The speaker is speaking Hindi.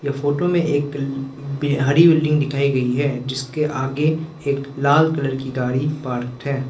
फोटो में एक बिहार बिल्डिंग दिखाई गई है जिसके आगे एक लाल कलर की गाड़ी पार्क है।